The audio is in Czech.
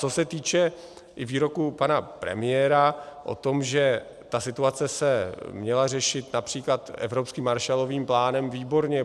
Co se týče i výroků pana premiéra o tom, že ta situace se měla řešit například evropským Marshallovým plánem, výborně.